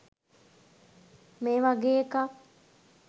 මේ වගේ එකක්.